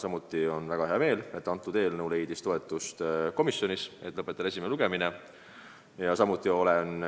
Mul on väga hea meel, et eelnõu leidis komisjonis toetust ja tehti ettepanek esimene lugemine lõpetada.